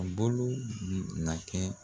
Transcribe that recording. A bolo na kɛ